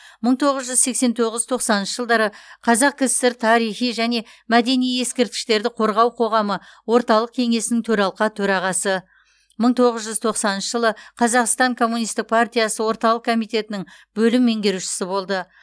мың тоғыз жүз сексен тоғыз тоқсаныншы жылдары қазақкср тарихи және мәдени ескерткіштерді қорғау қоғамы орталық кеңесінің төралқа төрағасы мың тоғыз жүз тоқсаныншы жылы қазақстан коммунистік партиясы орталық комитетінің бөлім меңгерушісі болды